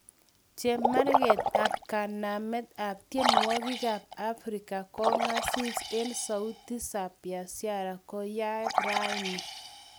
Chemarget ap kanamet ap tienwogikap ap africa kongasis en sauti za busara koyaag rani.